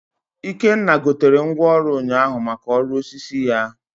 Ikenna gotere ngwaọrụ ụnyaahụ maka ọrụ osisi ya